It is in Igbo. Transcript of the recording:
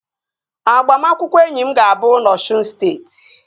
Agbamakwụkwọ enyi m ga-abụ na Osun steeti